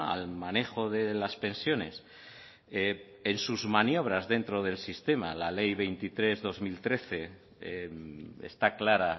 al manejo de las pensiones en sus maniobras dentro del sistema la ley veintitrés barra dos mil trece está clara